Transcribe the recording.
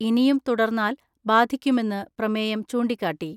ഇനിയും തുടർന്നാൽ ബാധിക്കുമെന്ന് പ്രമേയം ചൂണ്ടിക്കാട്ടി.